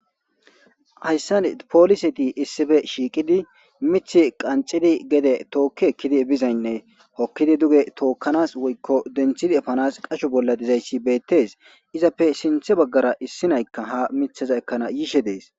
Hayssan poliseti issife shiiqidi mith qancidi gede tookkekkidi bizaynnee hokkidi duge tookkanas woykko denthidi efanas qasho bolla dizayssi beettes izappe sinthe baggara issi naykka ha mithaza ekkana yiishe dees.